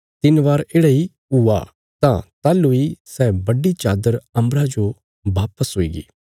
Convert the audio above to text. तिन्न बार येढ़ा इ हुआ तां ताहलूं इ सै बड्डी चादर अम्बरा जो वापस हुईगी